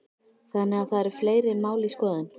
Þannig að það eru fleiri mál í skoðun?